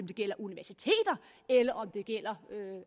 det gælder universiteter eller om det gælder